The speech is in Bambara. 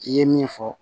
I ye min fɔ